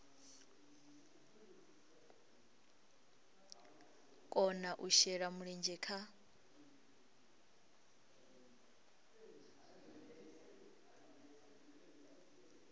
kona u shela mulenzhe kha